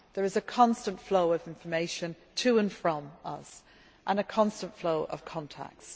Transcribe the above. time. There is a constant flow of information to and from us, and a constant flow of contacts.